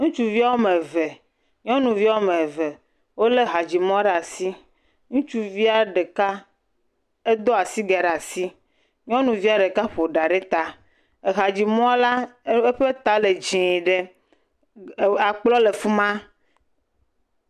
Ŋutsuvi woame eve nyɔnuvi woame eve wolé hadzimɔ ɖe asi, ke ŋutsuvie ɖeka do asigɛ ɖe asi, nyɔnuvie ɖeka ƒo ɖa ɖe ta, ehadzimɔla ƒe ta le dzɛ̃ ɖe akplɔ le fi ma.